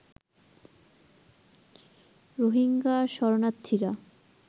Rohingya শরণার্থীরা